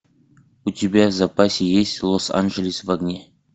у тебя в запасе есть лос анджелес в огне